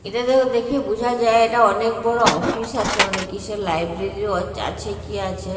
এটা দেখ দেখে বুঝা যায় এটা অনেক বড় অফিস আছে মানে কিসের লাইব্রেরি -ও আছে কি আছে।